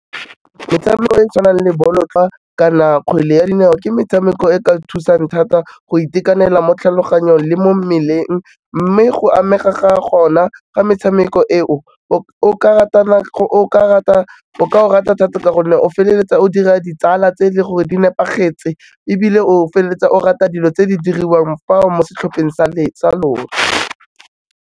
Metshameko e tshwanang le bolotloa ka na kgwele ya dinao ke metshameko e ka thusang thata go itekanela mo tlhaloganyong le mo mmeleng, mme go amega ga gona ga metshameko eo, o ka o rata thata-thata ka gonne o feleletsa o dira ditsala tse e le gore di nepagetse ebile o feleletsa o rata dilo tse di diriwang fao mo setlhopheng sa lona.